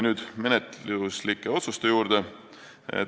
Nüüd menetluslike otsuste juurde.